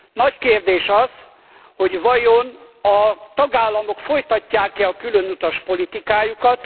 Nagy kérdés az, hogy vajon a tagállamok folytatják e a külön utas politikájukat.